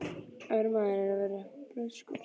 Að vera maður er að vera breyskur.